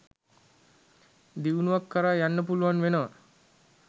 දියුණුවක් කරා යන්න පුළුවන් වෙනවා.